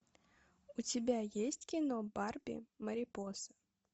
у тебя есть кино барби марипоса